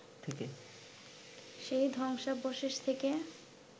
সেই ধ্বংসাবশেষ থেকে